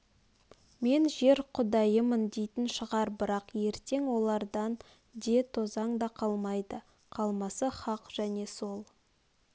мен жер құдайымын дейтін шығар бірақ ертең олардан де тозаң да қалмайды қалмасы хақ және сол